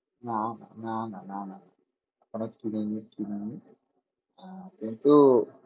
না না না না না না এখনো কিনিনি কিনিনি হ্যাঁ কিন্তু